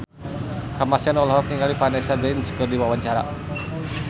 Kamasean olohok ningali Vanessa Branch keur diwawancara